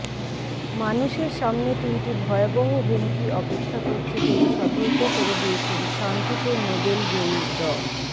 মানুষের সামনে তিনটি ভয়াবহ হুমকি অপেক্ষা করছে বলে সতর্ক করে দিয়েছেন শান্তিতে নোবেল জয়ী ড